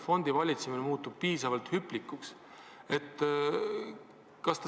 Fondivalitsemine muutub piisavalt hüplikuks.